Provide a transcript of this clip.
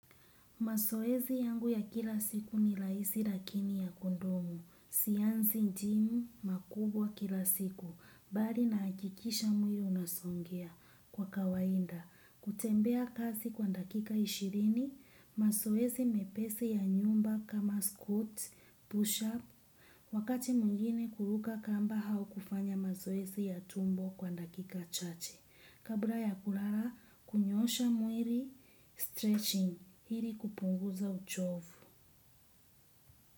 Mazoezi yangu ya kila siku ni rahisi lakini ya kudumu. Sianzi jimu makubwa kila siku. Bali nahakikisha mwili unasogea kwa kawaida. Kutembea kasi kwa dakika ishirini mazoezi mepesi ya nyumba kama squats push up wakati mwingine huruka kamba au kufanya mazoezi ya tumbo kwa dakika chache kabla ya kulala hunyoosha mwili stretching hili kupunguza uchovu.